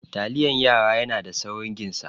Taliyan yara yana da saurin ginsa.